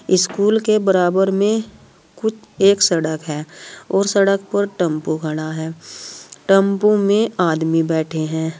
School के बराबर में कुछ एक सड़क है और सड़क पर टेंपू खड़ा है टम्पू में आदमी बैठे हैं।